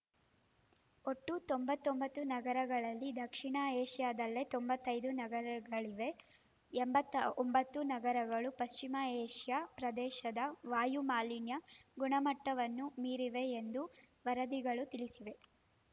ಒಟ್ಟು ತೊಂಬತ್ತೊಂಬತ್ತು ನಗರಗಳಲ್ಲಿ ದಕ್ಷಿಣ ಏಷ್ಯಾದಲ್ಲೇ ತೊಂಬತ್ತೈದು ನಗರಗಳಿವೆ ಎಂಬತ್ತ್ ಒಂಬತ್ತು ನಗರಗಳು ಪಶ್ಚಿಮ ಏಷ್ಯಾ ಪ್ರದೇಶದ ವಾಯು ಮಾಲಿನ್ಯ ಗುಣಮಟ್ಟವನ್ನು ಮೀರಿವೆ ಎಂದು ವರದಿಗಳು ತಿಳಿಸಿವೆ